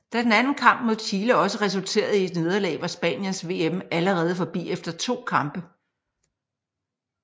Da den anden kamp mod Chile også resulterede i et nederlag var Spaniens VM allerede forbi efter to kampe